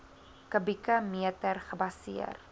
kubieke meter gebaseer